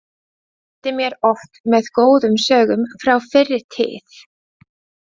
Hann skemmti mér oft með góðum sögum frá fyrri tíð.